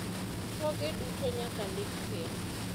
thoge duto nyaka ndik piny